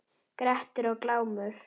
Grettir og Glámur